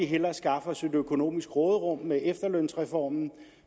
hellere skaffe os et økonomisk råderum med efterlønsreformen